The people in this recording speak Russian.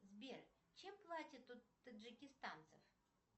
сбер чем платят у таджикистанцев